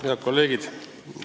Head kolleegid!